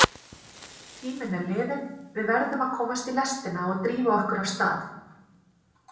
Tíminn er liðinn, við verðum að komast í lestina og drífa okkur af stað.